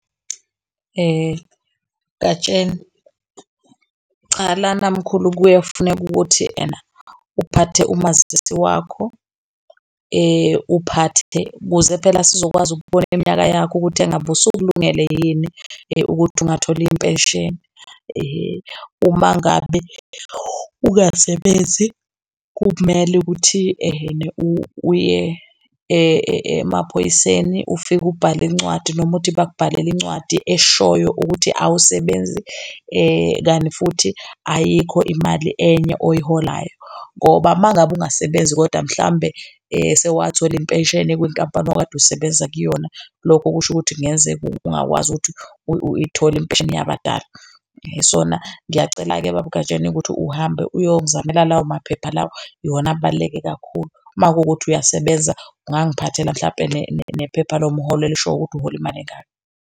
Gatsheni, cha lana mkhulu, kuye kufuneke ukuthi ena uphathe umazisi wakho, uphathe ukuze phela sizokwazi ukubona iminyaka yakho ukuthi engabe usukulungele yini ukuthi ungathola impesheni ehe. Uma ngabe ungasebenzi kumele ukuthi ehene uye emaphoyiseni. Ufike ubhale incwadi noma uthi bakubhalele incwadi eshoyo ukuthi awusebenzi kanti futhi ayikho imali enye oyiholayo ngoba uma ngabe ungasebenzi kodwa mhlawumbe sewathola impesheni kwinkampani owawukade osebenza kuyona. Lokhu kusho ukuthi kungenzeka ungakwazi ukuthi uyayithola impesheni yabadala. So-na ngiyacela-ke baba uGatsheni ukuthi uhambe uyongizamela lawo maphepha iwona ebaluleke kakhulu. Uma kuwukuthi uyasebenza. Ungiphathela mhlampe nephepha lomholo elishoyo ukuthi uhola imali engaka.